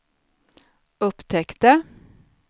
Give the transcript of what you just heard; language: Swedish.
upptäckte